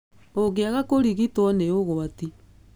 Ũngĩaga kũrigitwo nĩ úgwati.